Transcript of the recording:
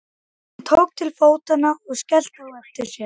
Hún tók til fótanna og skellti á eftir sér.